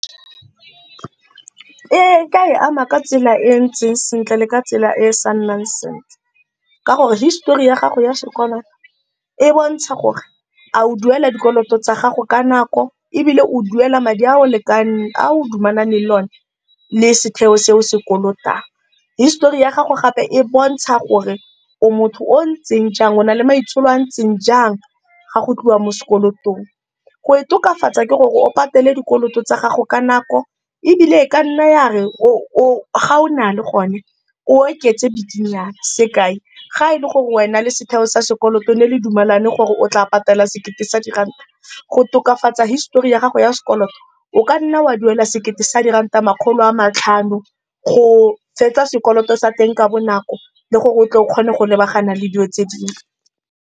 Ee, ke a e ama ka tsela e ntseng sentle le ka tsela e e sa nnang sentle ka gore histori ya gago ya sokola e bontsha gore a o duela dikoloto tsa gago ka nako ebile o duela madi a o lekaneng a o dumalaneng le one le setheo seo se kolotang. Histori ya gago gape e bontsha gore o motho o o ntseng jang o na le maitsholo a ntseng jang fa go tliwa mo sekolotong. Go itokafatsa ke gore o patele dikoloto tsa gago ka nako ebile e kanna ya re ga o na le gone o oketse bikinyana. Sekai, ga e le gore wena le setheo sa sekoloto ne le dumelane gore o tla patela sekete sa diranta go tokafatsa histori ya gago ya sekoloto, o kanna wa duela sekete sa diranta makgolo a matlhano go fetsa sekoloto sa teng ka bonako le gore o tle o kgone go lebagana le dilo tse dingwe.